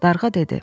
Darğa dedi.